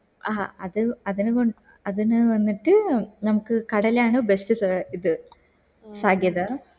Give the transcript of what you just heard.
ഹാ അത് അതിന് അതിന് വന്നിട്ട് നമക് കടലാണ് best സ ഇത് ഫഘേദർ